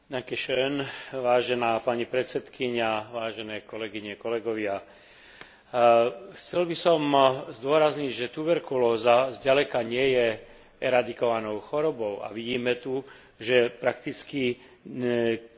Chcel by som zdôrazniť, že tuberkulóza zďaleka nie je eradikovanou chorobou, a vidíme tu, že prakticky takmer dva milióny ľudí ročne podľahne tejto vážnej chorobe.